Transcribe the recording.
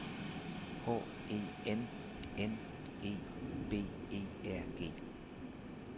H E N N E B E R G